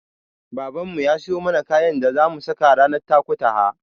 Babanmu ya siyo mana kayan da zamu saka ranar Takutaha.